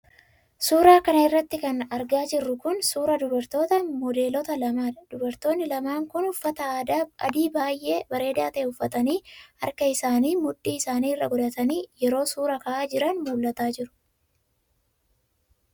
Suura kana irratti kan argaa jirru kun, suura dubartoota modeeloota lamaa dha. Dubartoonni lamaan kun, uffata adii baay'ee bareedaa ta'e uffatanii, harka isaanii mudhii isaanii irra godhatanii yeroo suura ka'aa jiran mul'ataa jiru.